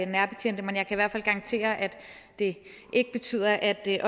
nærbetjente men jeg kan i hvert fald garantere at det ikke betyder at